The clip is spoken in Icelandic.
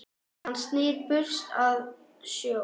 Hann snýr burst að sjó.